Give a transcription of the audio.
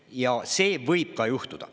Ja see võib ka juhtuda.